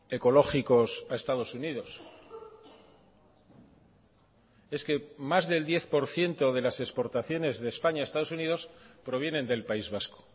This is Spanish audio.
ecológicos a estados unidos es que más del diez por ciento de las exportaciones de españa a estados unidos provienen del país vasco